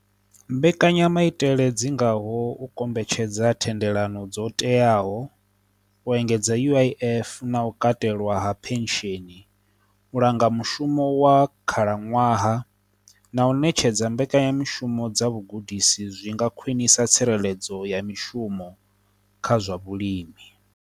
Mbekanyamaitele dzi ngaho u kombetshedza thendelano dzo teaho, u engedza uif na u katelwa ha pension, u langa mushumo wa khalaṅwaha, na u ṋetshedza mbekanyamishumo dza vhugudisi zwi nga khwinisa tsireledzo ya mishumo kha zwa vhulimi.